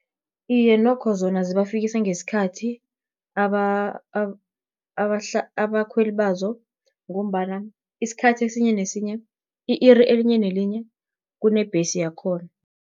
Iye, nokho zona zibafikisa ngesikhathi abakhweli bazo, ngombana, i-iri elinye nelinye kunembhesi yakhona.